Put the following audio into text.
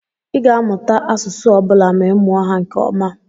Ị ga-amụta asụsụ ọ bụla ma ị mụọ ha nke ọma.